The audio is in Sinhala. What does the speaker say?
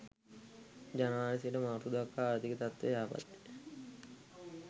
ජනවාරි සිට මාර්තු දක්වා ආර්ථික තත්ත්වය යහපත්ය.